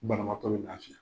Banabagatɔ bɛ lafiya.